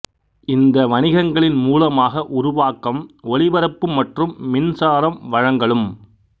இந்த வணிகங்களின் மூலமாக உருவாக்கம் ஒலிபரப்பு மற்றும் மின்சாரம் வழங்கல் உம்